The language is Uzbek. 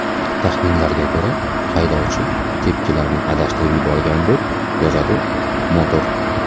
Taxminlarga ko‘ra, haydovchi tepkilarni adashtirib yuborgan, deb yozadi Motor.